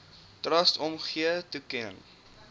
trust omgee toekenning